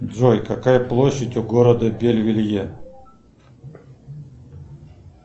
джой какая площадь у города бельвелье